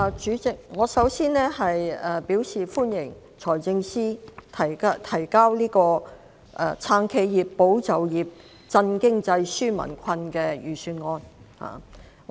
主席，我首先對財政司司長提交的"撐企業、保就業、振經濟、紓民困"的財政預算案表示歡迎。